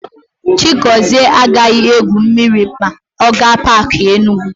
Chigọzie agaghị égwù mmiri ma ọ gaa Paakị Enugu.